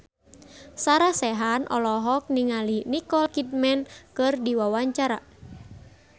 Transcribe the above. Sarah Sechan olohok ningali Nicole Kidman keur diwawancara